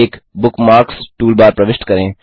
एक bookmarks toolbar प्रविष्ट करें